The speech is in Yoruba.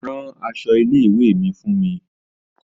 Ran aṣọ ilé ìwé mi fún mi.